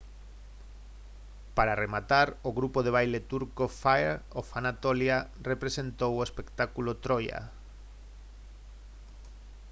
para rematar o grupo de baile turco fire of anatolia representou o espectáculo troia